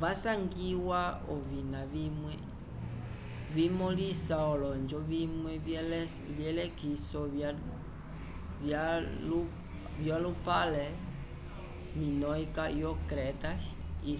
vasangiwa ovina vimwe vimõlisa olonjo vimwe vyelekiso vyalupale minoicas yo creta e